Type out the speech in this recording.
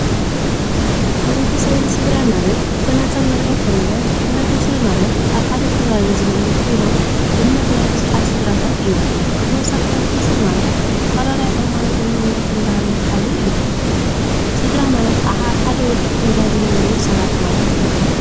ሕብረተሰብን ስድራን ማለት ብተናፀል እንትሪኦ እንተለና ሕብረተሰብ ማለት ኣብ ሓደ ከባቢ ዝነብሩ ኮይኖም ድምር ናይ ቡዙሓት ስድራታት እዮም፡፡ ብተወሳኪ ሕተሰብ ማለት ዝተፈላለየ ሃይማኖትን ባህልን ዝሓዙ እዮም፡፡ ስድራ ማለት ከኣነ ኣብ ሓደ ውልቀ ገዛ ዝነብሩ እዮም፡፡